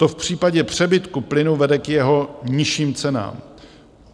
To v případě přebytku plynu vede k jeho nižším cenám.